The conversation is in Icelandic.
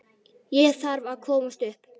Ég þarf að komast upp.